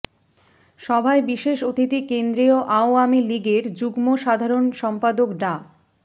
সভায় বিশেষ অতিথি কেন্দ্রীয় আওয়ামী লীগের যুগ্ম সধারণ সম্পাদক ডা